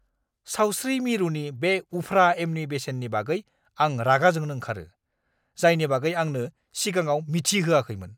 सावस्रि मिरुनि बे उफ्रा एमनि बेसेननि बागै आं रागा जोंनो ओंखारो, जायनि बागै आंनो सिगाङाव मिथि होयाखैमोन!